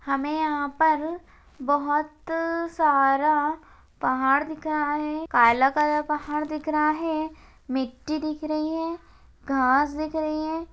हमे यहा पर बहुत सारा पहाड़ दिख रहा है। काला काला पहाड़ दिख रहा है। मिट्ठी दिख रही है। घास दिख रही है।